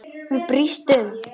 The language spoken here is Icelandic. Hún brýst um.